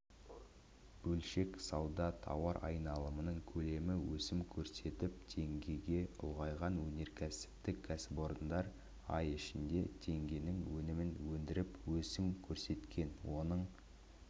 бөлшек сауда тауар айналымының көлемі өсім көрсетіп теңгеге ұлғайған өнеркәсіптік кәсіпорындар ай ішінде теңгенің өнімін өндіріп өсім көрсеткен оның